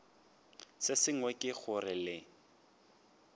se sengwe ke gore le